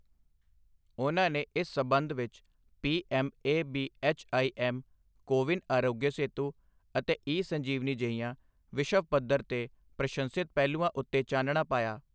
ਉਨ੍ਹਾਂ ਨੇ ਇਸ ਸਬੰਧ ਵਿੱਚ P M A B H I M CoWIN Aarogya Setu ਅਤੇ ਈ ਸੰਜੀਵਨੀ ਜਿਹੀਆਂ ਵਿਸ਼ਵ ਪੱਧਰ ਤੇ ਪ੍ਰਸ਼ੰਸਿਤ ਪਹਿਲੂਆਂ ਉੱਤੇ ਚਾਨਣਾ ਪਾਇਆ।